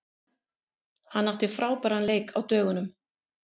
Hann átti frábæran leik á dögunum.